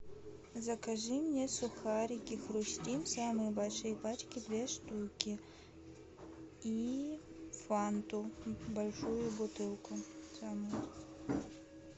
закажи мне сухарики хрустим самые большие пачки две штуки и фанту большую бутылку самую